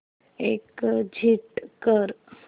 exit कर